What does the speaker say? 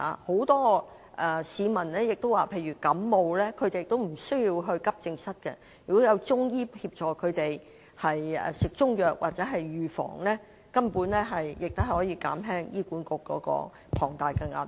很多市民亦表示，例如患上感冒也無須到急症室，如果有中醫協助他們，例如服用中藥等，根本亦可減輕醫管局的龐大壓力。